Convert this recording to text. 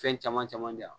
Fɛn caman caman di yan